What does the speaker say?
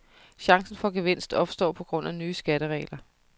Chancen for gevinst opstår på grund af nye skatteregler.